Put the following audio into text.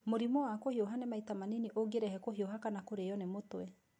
Mũrimũ wa kũhiũha nĩ maita manini ũngĩrehe kũhiuha kana kũrĩo nĩ mũtwe.